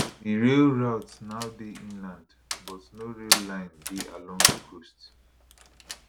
di rail routes now dey inland but no rail line dey along di coast